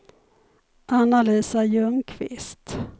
Anna-Lisa Ljungqvist